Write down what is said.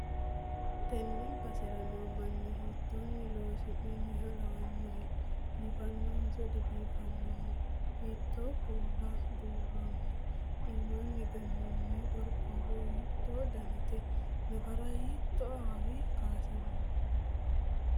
tenne basera noo mini hiittonni loonsoonniha lawannohe? biifannohonso dibiifannoho? hiitto kuula buurronniho? iimmanni gannoonni qorqorro hiitto danite? nafara hiitto awawa kaayinsoonni?